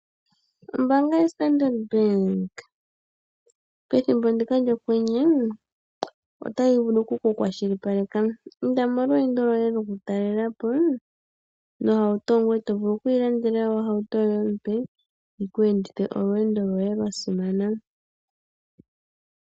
Ombaanga yo Standard Bank pethimbo ndika lyokwenye otayi vulu ku kukwashilipaleka. Inda molweendo lwoye lwokutalela po nohauto. Ngoye to vulu oku ilandela ohauto yoye ompe yiku endithe olweendo lwoye lwa simana.